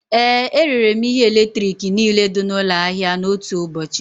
Ee, erere m ihe eletrik niile dị n'ụlọ ahịa n'otu ụbọchị